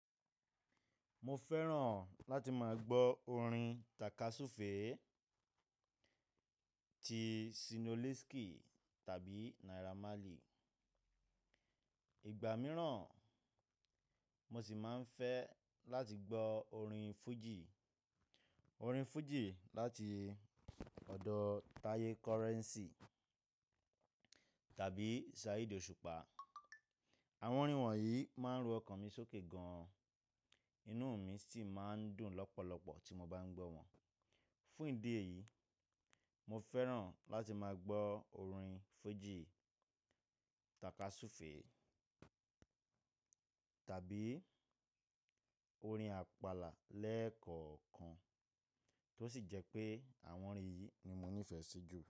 Mo fẹ́ràn láti máa gbọ́ orin tàkasúfèé ti Ṣínoliski tàbí Naira Marley. Ìgbà mìíràn, mo sì máa ń fẹ́ láti gbọ́ orin fújì, orin fújì láti ọ̀dọ̀ Taye Currency tàbí Saheed Òṣùpá. Àwọn orin wọ̀nyí máa ń ru ọkàn mi sókè gan-an, inú mi sì máa ń dùn lọ́pọ̀lọpọ̀ tí mo bá ń gbọ́ wọn. Fún ìdí èyí, mo fẹ́ràn láti máa gbọ́ orin fújì, tàkasúfèé tàbí orin àpàlà lẹ́ẹ̀kọ̀ọ̀kan, tó sì jẹ́ pé àwọn orin yìí ni mo nífẹ̀ẹ́ sí jù.